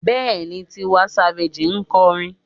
Bẹ́ẹ̀ni, Tiwa Savage ń kọrin.